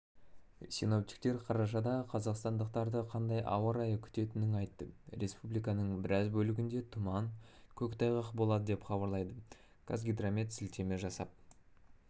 синоптиктер қарашада қазақстандықтарды қандай ауа райы күтетінін айтты республиканың біраз бөлігінде тұман көк тайғақ болады деп хабарлайды қазгидромет сілтеме жасап